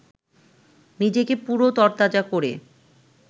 নিজেকে পুরো তরতাজা করে